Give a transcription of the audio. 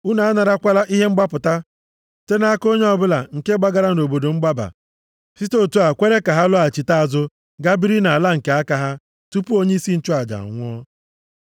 “ ‘Unu a narakwala ihe mgbapụta site nʼaka onye ọbụla nke gbagara nʼobodo mgbaba, site otu a kwere ka ha lọghachite azụ ga biri nʼala nke aka ha tupu onyeisi nchụaja anwụọ.